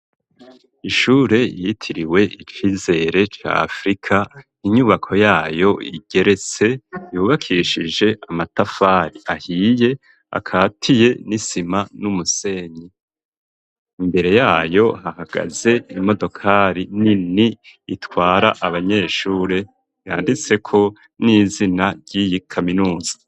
Ishure riyitiriwe icizere ca afrika inyubako yayo igeretse yubakishije amatafari ahiye akatiye n'isima n'umusenyi imbere yayo hahagaze imodokari nini itwara abanyeshure yanditse ko n'izina ryiyi kaminuza.